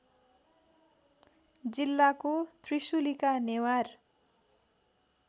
जिल्लाको त्रिशुलीका नेवार